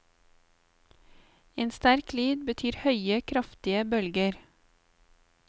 En sterk lyd betyr høye, kraftige bølger.